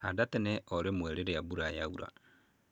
Handa tene o rĩmwe rĩrĩa mbura ya ura.